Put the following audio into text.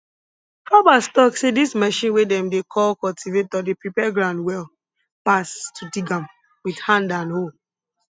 farmers talk say dis machine wey dem dey call cultivator dey prepare ground well pass to dig am with hand and hoe